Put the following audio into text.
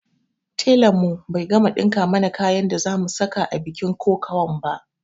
Telan mu bai gama ɗinka mana kayan da za mu saka a bikin kokawan ba